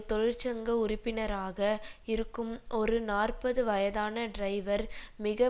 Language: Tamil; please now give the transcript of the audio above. தொழிற்சங்க உறுப்பினராக இருக்கும் ஒரு நாற்பது வயதான டிரைவர் மிக